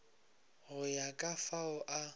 go ya ka fao o